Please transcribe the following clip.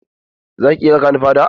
Za ki iya raƙa ni fada?